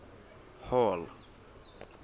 hall